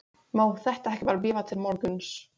má þetta ekki bara bíða til morguns?